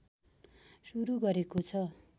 सुरु गरेको छ